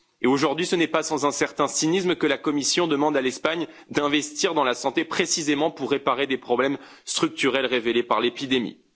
Et aujourd'hui, ce n'est pas sans un certain cynisme que la Commission demande à l'Espagne d'investir dans la santé, précisément pour réparer des problèmes structurels révélés par l'épidémie.